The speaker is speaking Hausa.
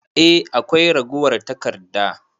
Eh akwai ragowar taƙarda.